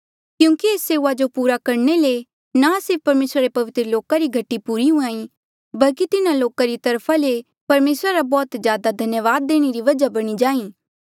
क्यूंकि ऐस सेऊआ जो पूरा करणे ले ना सिर्फ परमेसरा रे पवित्र लोका री घटी पूरी हुंहां ईं बल्की तिन्हा लोका री तरफा ले परमेसरा रा बौह्त ज्यादा धन्यावाद देणे री वजह बणी जाहीं